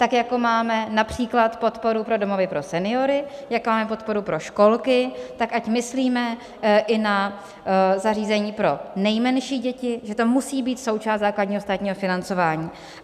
Tak jako máme například podporu pro domovy pro seniory, jak máme podporu pro školky, tak ať myslíme i na zařízení pro nejmenší děti, že to musí být součást základního státního financování.